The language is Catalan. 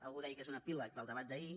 algú deia que és un epíleg del debat d’ahir